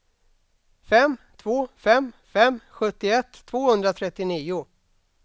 fem två fem fem sjuttioett tvåhundratrettionio